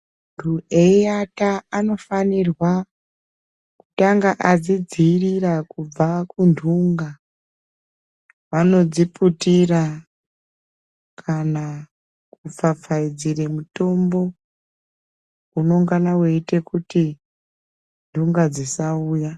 Ntu eiata anofanirwa kutanga adzidziirira kubva kuntunga anodziputira kana kupfapfaidzire mutombo unongana weiite kuti ntunga dzisauya.